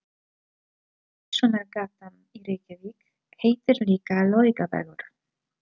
Verslunargatan í Reykjavík heitir líka Laugavegur.